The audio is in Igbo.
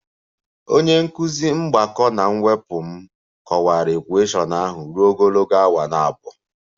Onye nkụzi mgbakọ na mwepụ m kọwara equation ahụ ruo ogologo awa abụọ